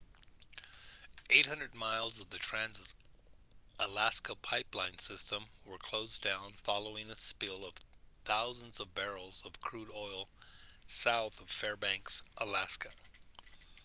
800 miles of the trans-alaska pipeline system were closed down following a spill of thousands of barrels of crude oil south of fairbanks alaska